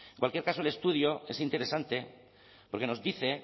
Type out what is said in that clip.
cualquier caso el estudio es interesante porque nos dice